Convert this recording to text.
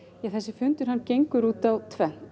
fundurinn gengur út á tvennt